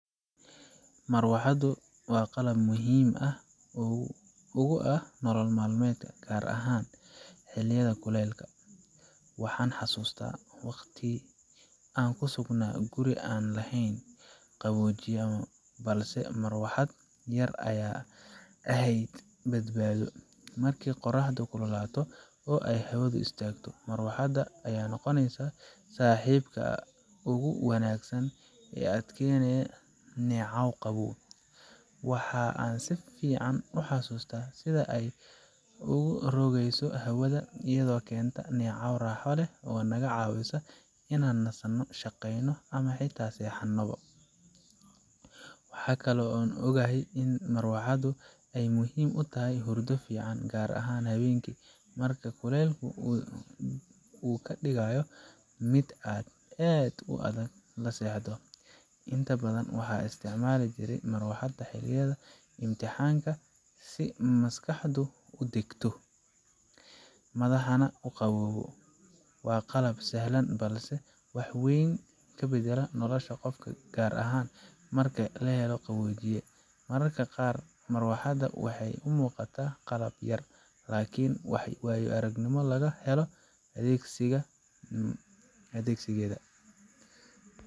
Marawaxaddu waa qalab aad muhiim ugu ah nolol maalmeedkeena, gaar ahaan xilliyada kuleylka. Waxaan xasuustaa waqti aan ku sugnaa guri aan lahayn qaboojiye, balse marawaxad yar ayaa ahayd badbaado. Markii qorraxdu kululaato oo ay hawadu istaagto, marawaxadda ayaa noqoneysa saaxiibka ugu wanaagsan ee kuu keenaya neecaw qabow. Waxa aan si fiican u xasuustaa sida ay u rogayso hawada, iyadoo keenta neecaw raaxo leh oo naga caawisa inaan nasano, shaqeyno ama xitaa seexanno. Waxa kaloo aan ogahay in marawaxaddu ay muhiim u tahay hurdo fiican, gaar ahaan habeenkii, marka kulaylku uu ka dhigayo mid aad u adag in la seexdo. Inta badan waxaan isticmaali jiray marawaxadda xilliyada imtixaanka si maskaxdu u degto, madaxaana u qabow. Waa qalab sahlan balse wax weyn ka beddela nolosha qofka, gaar ahaan marka aan helin qaboojiye. Mararka qaar, marawaxadda waxay u muuqataa qalab yar, laakiin waayo aragnimada laga helo adeegsigeeda.